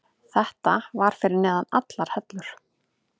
Þetta var fyrir neðan allar hellur.